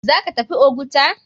Zaka tafi oguta?